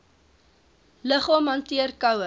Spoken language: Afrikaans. liggaam hanteer koue